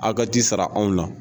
Aw ka t'i sara ana na